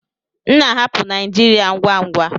M na-ahapụ Naijiria ngwa ngwa.